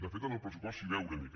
de fet en el pressupost s’hi veu una mica